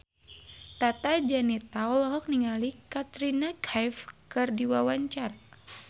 Tata Janeta olohok ningali Katrina Kaif keur diwawancara